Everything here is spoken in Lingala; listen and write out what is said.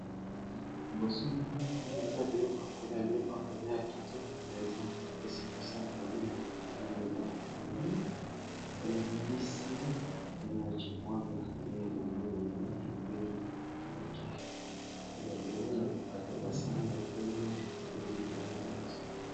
Liboso nanga namoni eza biloko yakolia biloko ya kolia ya kitoko mpenza epesi posa ya kolia na moni eza pondu mpe na mbisi pe na cikwanga ndenge na moni yango na pilipili moke eza penza na kati ya ba sani ya pembe na moni yango liboso nanga.